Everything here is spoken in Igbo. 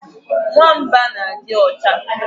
Nwamba na adi ocha